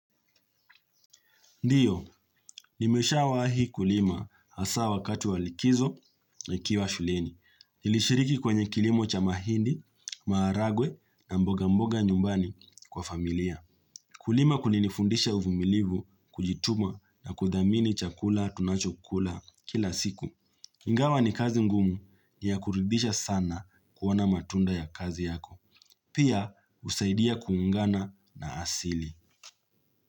Ndiyo, nimesha wa hi kulima hasa wakatu walikizo na ikiwa shuleni. Nilishiriki kwenye kilimo cha mahindi, maharagwe na mboga mboga nyumbani kwa familia. Kulima kulinifundisha uvumilivu, kujituma na kuthamini chakula tunachokula kila siku. Ingawa ni kazi ngumu ni ya kuridhisha sana kuona matunda ya kazi yako. Pia usaidia kuungana na asili.